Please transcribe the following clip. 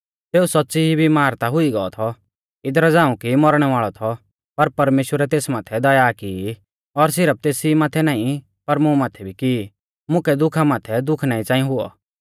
सेऊ सौच़्च़ी ई बिमार ता हुई गौ थौ इदरा झ़ांऊ कि मौरणै वाल़ौ थौ पर परमेश्‍वरै तेस माथै दया की और सिरफ तेस ई माथै नाईं पर मुं माथै भी कि मुकै दुखा माथै दुख ना च़ांई हुऔ